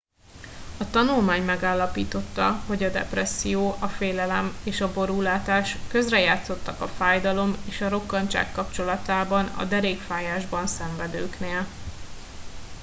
a tanulmány megállapította hogy a depresszió a félelem és a borúlátás közrejátszottak a fájdalom és a rokkantság kapcsolatában a derékfájásban szenvedőknél